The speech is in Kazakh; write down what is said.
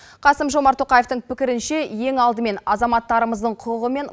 қасым жомарт тоқаевтың пікірінше ең алдымен азаматтарымыздың құқығы мен